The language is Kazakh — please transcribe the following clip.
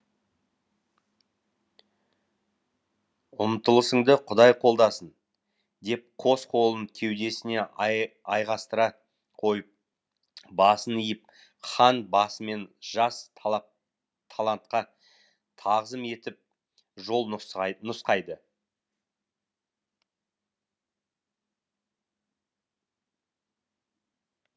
ұмтылысыңды құдай қолдасын деп қос қолын кеудесіне айқастыра қойып басын иіп хан басымен жас талантқа тағзым етіп жол нұсқайды нұсқайды